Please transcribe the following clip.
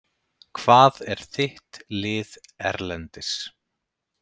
Hvað er þitt lið erlendis?